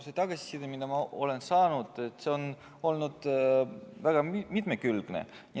See tagasiside, mida ma olen saanud, on olnud väga mitmekülgne.